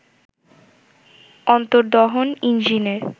অন্তর্দহন ইঞ্জিনের